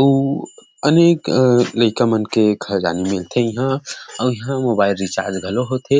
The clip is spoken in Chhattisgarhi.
ऊ अनेक लइका मन के खजानी मिलथे इहा अऊ इहा मोबाइल रिचार्ज घलो होथे।